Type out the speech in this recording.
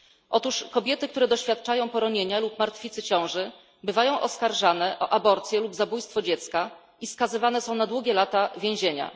Otóż kobiety, które doświadczają poronienia lub martwicy ciąży, bywają oskarżane o aborcję lub zabójstwo dziecka i skazywane są na długie lata więzienia.